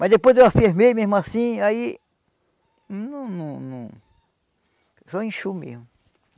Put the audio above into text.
Mas depois eu afirmei, mesmo assim, aí... Não, não, não... Só inchou mesmo.